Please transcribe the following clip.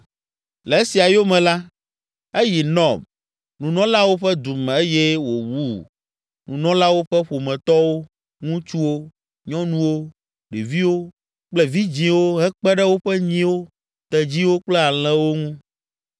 Le esia yome la, eyi Nɔb, nunɔlawo ƒe du me eye wòwu nunɔlawo ƒe ƒometɔwo, ŋutsuwo, nyɔnuwo, ɖeviwo kple vidzĩwo hekpe ɖe woƒe nyiwo, tedziwo kple alẽwo ŋu.